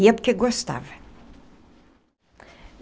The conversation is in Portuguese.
Ia porque gostava.